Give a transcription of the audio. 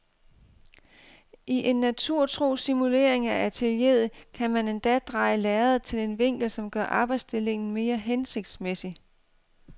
I en naturtro simulering af atelieret kan man endda dreje lærredet til en vinkel som gør arbejdsstillingen mere hensigtsmæssig.